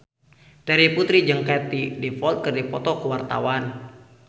Terry Putri jeung Katie Dippold keur dipoto ku wartawan